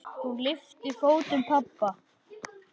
Hún lyftir fótum pabba.